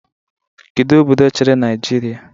Kedu obodo chịrị Naijiria?